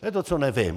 To je to, co nevím!